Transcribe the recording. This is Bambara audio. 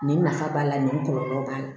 Nin nafa b'a la nin kɔlɔlɔ b'a la